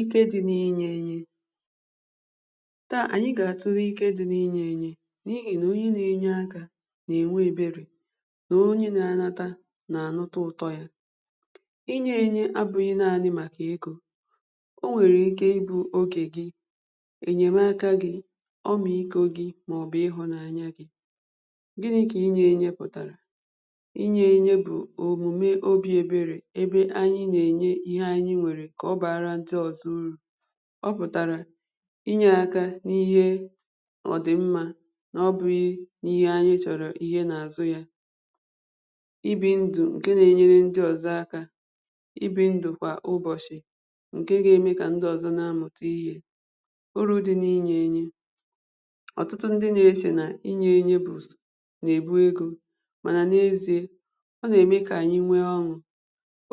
Ike dị̀ n’inyè enyè taa, anyị̀ ga-atulè ike dị̀ n’inyè enyè n’ihi nà onyè na-enyè aka na-enwè eberè nà onyè na-anatà nà anụ̀tà ụtọ̀ yà inyè enyè abụghị̀ naanị̀ màkà egō o nwerè ikè ịbụ̀ ogè gì enyèmakà gì ọmịkò gì maọ̀bụ̀ ịhụ̀nanya gị̀ gịnị̀ bụ̀ inyè enyè pụ̀tarà inyè enyè bụ̀ omumè obì eberè ebe anyị̀ na-enyè ihe anyị̀ nwerè kà ọ baarà ndị̀ ọzọ̀ urù ọ pụtarà inyè aka n’ihe ọ dị̀ mmà n’ọbụghị̀ n’ihe anyị̀ ihe na-azụ̀ yà ibì ndụ̀ nkè na-enyerè ndị̀ ọzọ̀ aka ibì ndụ̀ kwà ụbọchị̀ nkè ga-emè kà ndị̀ ọzọ̀ na-amụ̀tà ihe urù dị̀ n’inyè enyè otutù ndị̀ na-echè n’inyè enyè bụzị̀ na-egbù egō mànà n’eziè ọ na-emè kà anyị̀ nwè ọn̄ụ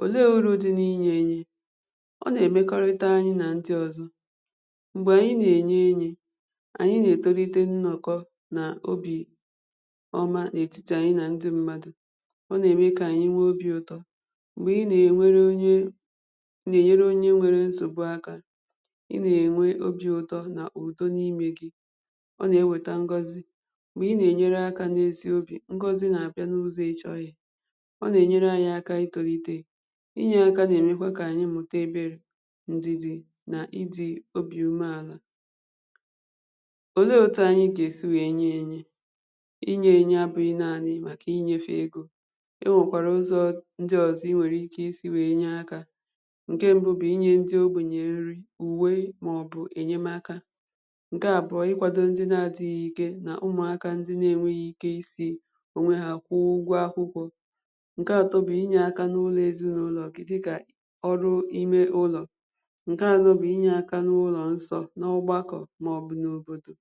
olè urù dị̀ n’inyè enyè ọ na-emekọ̀rịtà anyị̀ nà ndị̀ ọzọ̀ m̄gbè anyị̀ na-enyè enyè anyị̀ na-etolitè nnọkọ̀ n’obì ọmà n’etitì anyị̀ nà ndị̀ mmadụ̀ ọ na-emè kà anyị̀ nwè obì ụtọ̀ m̄gbè ị na-enwerè onyè na-enyerè onyè nwerè nsogbù aka ị na-enwè obì ụtọ̀ nà udò n’imè gì ọ na-ewetà ngọ̀zì m̄gbè ị na-enyerè aka n’ezì ogè ngọzì na-abịà n’ụzọ̀ ị chọghị̀ yà ọ na-enyerè anyị̀ aka itolìtè inyè akà na-emèkwà kà anyị̀ mụtà eberè ndidì n’ịdị̀ obì umè àlà olè otù anyị̀ ga-esì wee nyè enyè inyè enyè abụ̀ghị̀ naanị̀ màkà inyefè egō e nwèkwarà ụzọ̀ ndị̀ ọzọ̀ inwerè ike isì wee inyè aka nkè mbụ̀ inyè ndị̀ ogbenyè nrì uwè maọ̀bụ̀ enyèmakà nkè abụọ̀ ikwàdò ndị̀ na-adị̀ghị̀ ike n’ụmụakà ndị̀ na-enweghì ike isì onwè hà kwụọ̀ ụgwọ̀ akwụkwọ̀ nkè atọ̀ bụ̀ inyè aka n’ụlọ̀ ezìnaụlọ̀ gị̀ dịkà ọrụ̀ imè ụlọ̀ nkè anọ̀ bụ̀ inyè aka n’ụlọ̀ nsọ̀ n’ọgbakọ̀ maọ̀bụ̀ n’òbodò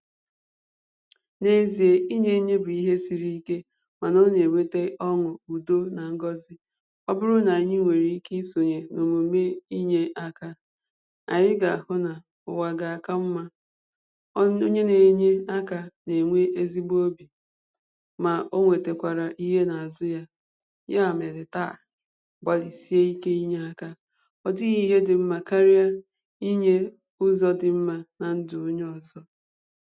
n’eziè, inyè enyè bụ̀ ihe sirì ike mànà ọ na-ewetè ọn̄ụ̀, udò nà ngọzì ọ bụrụ̀ nà anyị̀ nwerè ike isonyè omùmè inyè aka anyị̀ ga-ahụ̀ nà ụwà ga-aka mmà ọnụ̀ onyè na-enyè aka na-enwè ezigbò obì mà o wetàkwarà ihe n’azụ̀ yà yà merè taa gbalị̀sịà ike inyè aka ọ dịghị̀ ihe dị̀ mmà kariè inyè ụzọ̀ dị̀ mmà nà ndụ̀ onyè ọzọ̀